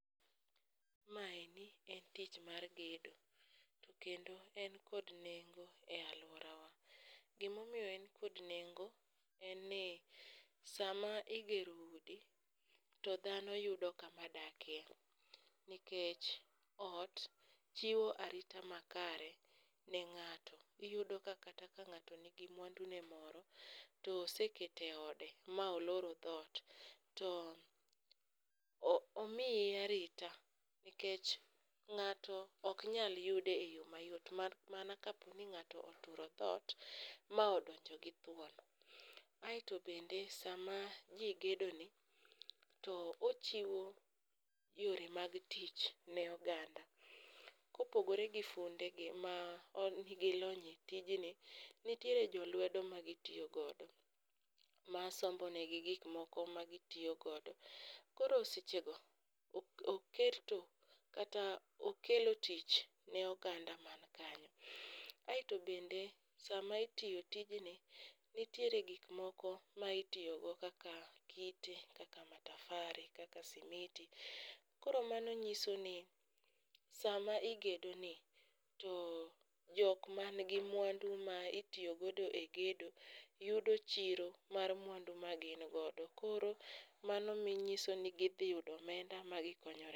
Maendi en tich mar gedo, to kendo en kod nengo e alworawa. Gimomiyo en kod nengo en ni sama igero udi to dhano yudo kamadakie nikech ot chiwo arita makare ne ng'ato. Iyudo ka kata ka ng'ato nigi mwandune moro to osekete e ode ma oloro dhot to omiye arita nkech ng'ato oknyal yude e yo mayot mana kaponi ng'ato oturo dhoot ma odonjo gi thuon. Aeto bende sama ji gedoni, to ochiwo yore mag tich ne oganda. Kopogore gi fundegi mankod lony e tijni, nitiere jolwedo magitiyogodo masombonegi gikmoko magitiyogodo koro sechego okelo tich ne oganda mankanyo. Aeto bende sama itiyo tijni, nitiere gikmoko ma itiyogo kaka kite kaka matafare kaka simiti koro mano nyiso ni sama igedoni to jokmangi mwandu ma itiyogodo e gedo yudo chiro mar mwandu magingodo koro mano nyiso ni gidhiyudo omenda magikonyorego.